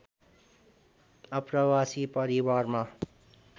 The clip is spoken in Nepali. आप्रवासी परिवारमा